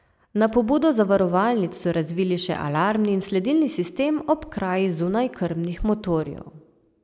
Na pobudo zavarovalnic so razvili še alarmni in sledilni sistem ob kraji zunajkrmnih motorjev.